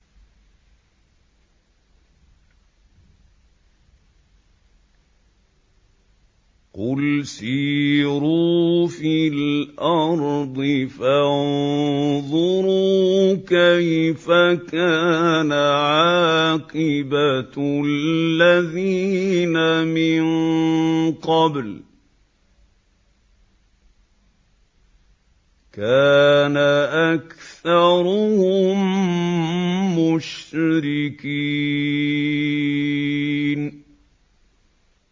قُلْ سِيرُوا فِي الْأَرْضِ فَانظُرُوا كَيْفَ كَانَ عَاقِبَةُ الَّذِينَ مِن قَبْلُ ۚ كَانَ أَكْثَرُهُم مُّشْرِكِينَ